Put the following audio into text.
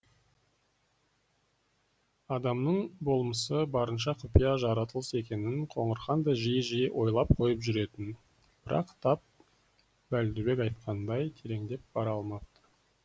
адамның болмысы барынша құпия жаратылыс екенін қоңырхан да жиі жиі ойлап қойып жүретін бірақ тап бәлдубек айтқандай тереңдеп бара алмапты